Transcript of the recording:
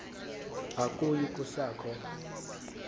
akuyi kusa kho